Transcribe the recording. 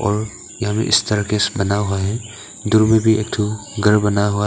यहां में इस तरह केस बना हुआ है दूर में भी एक ठो घर बना हुआ है।